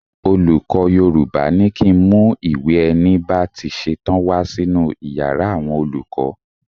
Olùkọ́ Yorùbá ní kí ń mú ìwé ẹni bá ti ṣetán wá sínú Ìyàrá àwọn olùkọ́.